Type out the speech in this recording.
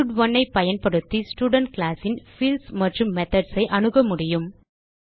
ஸ்டட்1 ஐ பயன்படுத்தி student class ன் பீல்ட்ஸ் மற்றும் மெத்தோட்ஸ் ஐ அனுக முடியும்